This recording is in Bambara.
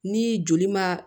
Ni joli ma